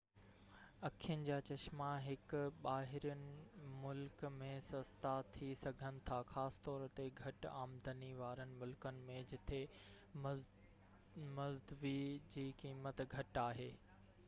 اکين جا چشما هڪ ٻاهرين ملڪ ۾ سستا ٿي سگهن ٿا خاص طور تي گهٽ آمدني وارن ملڪن ۾ جتي مزدوي جي قيمت گهٽ آهي